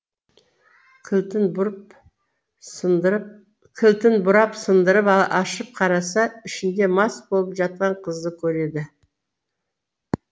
кілтін бұрап сындырып ашып қараса ішінде мас болып жатқан қызды көреді